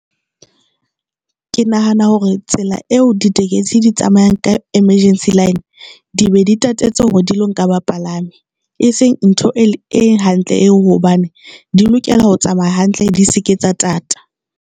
Ke nahana hore tsela eo ditekesi di tsamayang ka emergency line, di be di tatetse hore di lo nka bapalami e seng ntho e hantle eo hobane di lokela ho tsamaya hantle di se ke tsa thata.